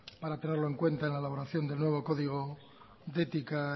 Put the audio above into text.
para tenerlo en cuenta en la elaboración del nuevo código de ética